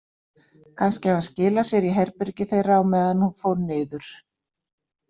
Kannski hafði hann skilað sér í herbergið þeirra á meðan hún fór niður.